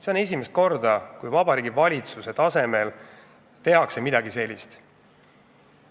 See on esimest korda, kui Vabariigi Valitsuse tasemel tehakse midagi sellist.